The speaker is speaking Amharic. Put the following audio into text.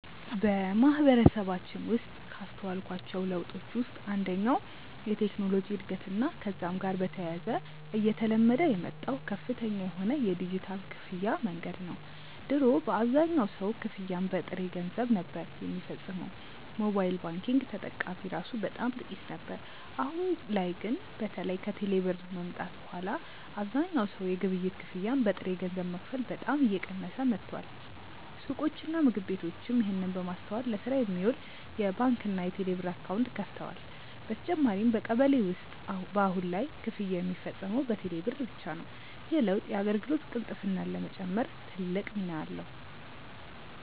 በማህበረሰባችን ውስጥ ካስተዋልኳቸው ለውጦች ውስጥ አንደኛው የቴክኖሎጂ እድገትና ከዛም ጋር በተያያዘ እየተለመደ የመጣው ከፍተኛ የሆነ የዲጂታል ክፍያ መንገድ ነው። ድሮ አብዛኛው ሰው ክፍያን በጥሬ ገንዘብ ነበር ሚፈጽመው፤ ሞባይል ባንኪንግ ተጠቃሚ እራሱ በጣም ጥቂት ነበር። አሁን ላይ ግን በተለይ ከቴሌ ብር መምጣት በኋላ አብዛኛው ሰው የግብይት ክፍያን በጥሬ ገንዘብ መክፈል በጣም እየቀነሰ መጥቷል። ሱቆችና ምግብ ቤቶችም ይህንን በማስተዋል ለስራ የሚውል የባንክና የቴሌብር አካውንት ከፍተዋል። በተጨማሪም በቀበሌ ውስጥ በአሁን ላይ ክፍያ ሚፈጸመው በቴሌ ብር ብቻ ነው። ይህ ለውጥ የአገልግሎት ቅልጥፍናን ለመጨመር ትልቅ ሚና አለው።